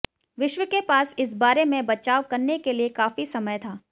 विश्व के पास इस बारे में बचाव करने के लिए काफी समय था